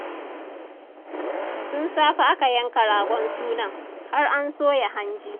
Tun safe aka yanka ragon sunan, har an soya hanji.